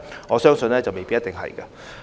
我相信答案未必是。